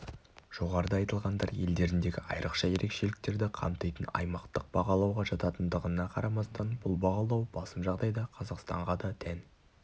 жоғарыда айтылғандар елдеріндегі айрықша ерекшеліктерді қамтитын аймақтық бағалауға жататындығына қарамастан бұл бағалау басым жағдайда қазақстанға да тән